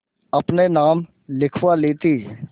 अपने नाम लिखवा ली थी